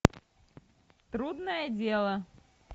трудное дело